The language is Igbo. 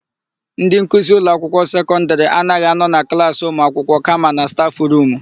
Ndị nkuzi ụlọakwụkwọ sekọndịrị anaghị anọ na klaasị ụmụakwụkwọ kama na stafụrumu.